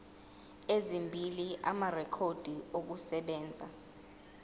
ezimbili amarekhodi okusebenza